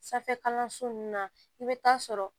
Sanfɛ kalanso nunnu na i bi taa sɔrɔ